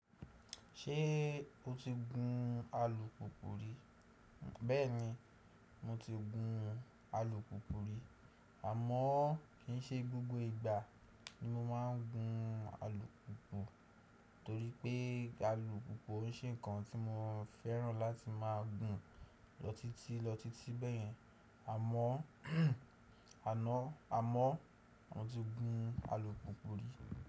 Ṣé o ti gun alùpùpù rí? Bẹ́ẹ̀ni, mo ti gun alùpùpù rí. Àmọ́ kì í ṣe gbogbo ìgbà ni mo máa ń gun alùpùpù torí pé alùpùpù ò ṣe ǹkan tí mo fẹ́ràn láti máa gùn lọ títí lọ títí bẹ́ẹ̀yẹn. Àmọ́, àná, a mọ́, mo ti gun alùpùpù rí.